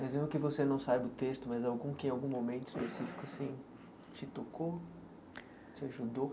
Mas mesmo que você não saiba o texto, mas algum que em algum momento específico assim te tocou, te ajudou?